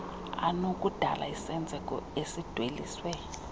anokudala isenzeko esidweliswe